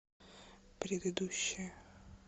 предыдущая